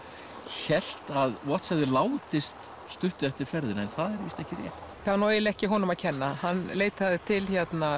hélt að Watts hefði látist stuttu eftir ferðina en það er víst ekki rétt það er nú eiginlega ekki honum að kenna hann leitaði til